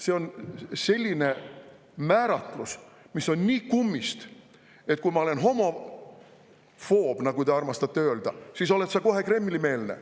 See on selline määratlus, mis on nii kummist, et kui ma olen homofoob, nagu te armastate öelda, siis olen ma kohe Kremli‑meelne.